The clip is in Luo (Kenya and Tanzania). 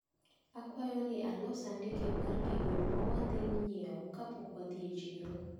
Akwayo ni alos andike mar gigo mawadhi nyiewo kapok wadhi e chiro.